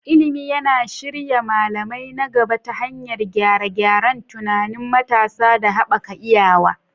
Ilimi yana shirya malamai na gaba ta hanyar gyare-gyaren tunanin matasa da haɓaka iyawa.